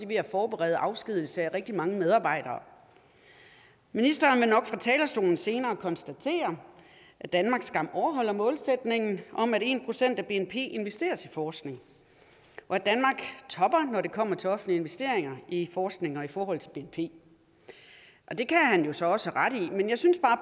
ved at forberede afskedigelse af rigtig mange medarbejdere ministeren vil nok fra talerstolen senere konstatere at danmark skam overholder målsætningen om at en procent af bnp investeres i forskning og at danmark topper når det kommer til offentlige investeringer i forskning forhold til bnp det kan han jo så også have ret i men jeg synes bare